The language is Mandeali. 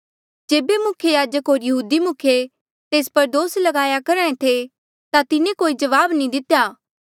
जेबे मुख्य याजक होर यहूदी मुखिये तेस पर दोस ल्गाया करहा ऐें थे ता तिन्हें कोई जवाब नी दितेया